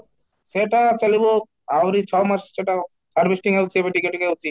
ସେତ ଚାଲିବ ଆହୁରି ଛଅ ମାସ ସେଟା harvesting ଅଛି ଏବେ ଟିକେ ଟିକେ ହୋଉଛି